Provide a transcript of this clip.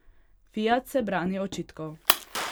Fiat se brani očitkov.